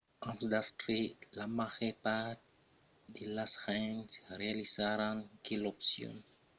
amb d'astre la màger part de las gents realizaràn que l'opcion melhora a long tèrme per eles es de trabalhar amassa amb los autres